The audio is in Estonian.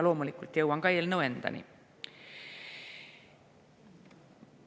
Loomulikult jõuan ka eelnõu endani.